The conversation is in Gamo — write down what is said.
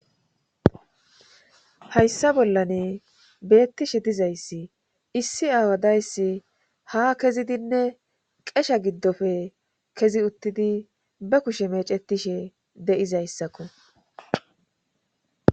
hayssa bollane beettishe dizayssi issi aawadayssi ha kezidinne qesha giddofe kezi uttidi be kushe mecetishe de7izayssakko